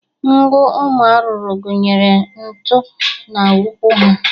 Ngụ ụmụ arụrụ gụnyere nku na ụkwụ ha.